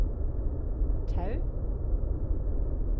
Tau